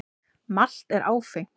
Malt er áfengt.